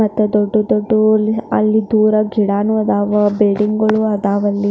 ಮತ್ತೆ ದೊಡ್ಡ ದೊಡ್ಡ ಊರಿನ ಅಲ್ಲಿ ದೂರ ಗಿಡನೂ ಅದಾವೆ ಬಿಲ್ಡಿಂಗ್ ಅದಾವೆ ಅಲ್ಲಿ .